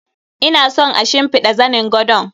Ina son a shimfiɗa zanin gadon.